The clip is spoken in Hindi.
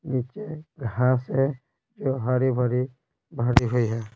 नीचे घास है जो हरी भरी भरी हुई है।